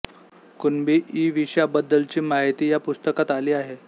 कुणबी इ विषयांबद्दलची माहिती या पुस्तकात आली आहे